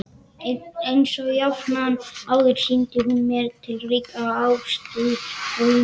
Einsog jafnan áður sýndi hún mér ríka ástúð og umhyggju.